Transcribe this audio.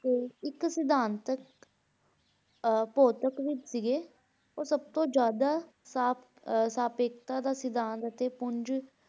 ਤੇ ਇੱਕ ਸਿਧਾਂਤਕ ਅਹ ਭੌਤਿਕ ਵੀ ਸੀਗੇ, ਉਹ ਸਭ ਤੋਂ ਜ਼ਿਆਦਾ ਸਾਪ~ ਅਹ ਸਾਪੇਖਤਾ ਦਾ ਸਿਧਾਂਤ ਅਤੇ ਪੁੰਜ